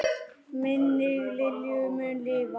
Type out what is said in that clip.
Minning Lilju mun lifa.